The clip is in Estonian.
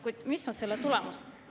Kuid mis on selle tulemus?